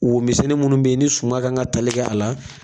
Wo misɛnni minnu bɛ yen ni suma kan ka tali kɛ a la